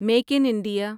make in India